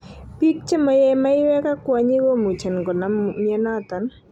Pik che mo yee maiwek ak kwonyik komuchen konam mionoton.